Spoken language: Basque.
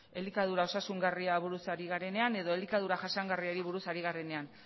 elikadura osasungarriari buruz ari garenean edo elikadura jasangarriari buruz ari garenean